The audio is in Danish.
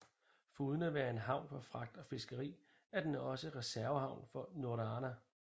Foruden at være en havn for fragt og fiskeri er den også reservehavn for Norröna